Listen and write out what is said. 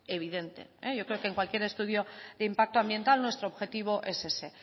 evidente yo creo que en cualquier estudio de impacto ambiental nuestro objetivo es ese